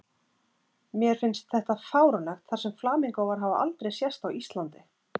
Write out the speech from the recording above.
Mér finnst þetta fáránlegt þar sem flamingóar hafa aldrei sést á Íslandi